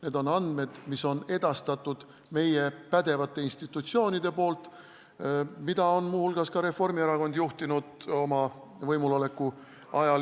Need on andmed, mis on edastanud meie pädevad institutsioonid, mida on ka Reformierakond oma võimuloleku ajal juhtinud.